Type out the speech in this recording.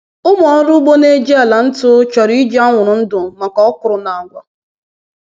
Ụmụ ọrụ ugbo na-eji ala ntu chọrọ iji anwụrụ ndụ maka okwuru na agwa.”